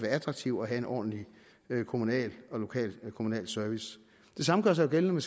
attraktivt og have en ordentlig kommunal og lokal service det samme gør sig gældende